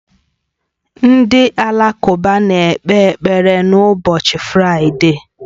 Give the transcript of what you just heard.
Ndị Alakụba na-ekpe ekpere n'ụbọchị Fraịde